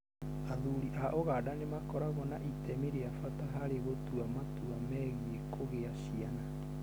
Athuri a Uganda nĩ makoragwo na itemi rĩa bata harĩ gũtua matua megiĩ kũgĩa ciana.